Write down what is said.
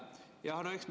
Aitäh!